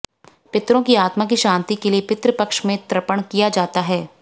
पितरों की आत्मा की शांति के लिए पितृ पक्ष में तर्पण किया जाता है